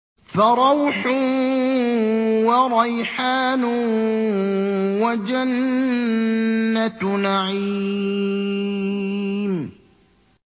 فَرَوْحٌ وَرَيْحَانٌ وَجَنَّتُ نَعِيمٍ